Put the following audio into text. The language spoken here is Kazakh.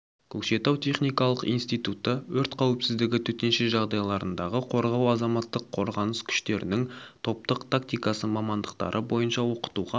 көкшетау техникалық институты өрт қауіпсіздігі төтенше жағдайлардағы қорғау азаматтық қорғаныс күштерінің топтық тактиасы мамандықтары бойынша оқытуға